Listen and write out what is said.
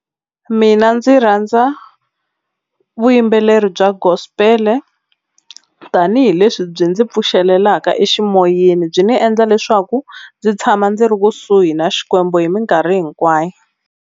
Mina ndzi rhandza vuyimbeleri bya gospel-e tanihileswi byi ndzi pfuxelaka eximoyeni byi ni endla leswaku ndzi tshama ndzi ri kusuhi na Xikwembu hi minkarhi hinkwayo.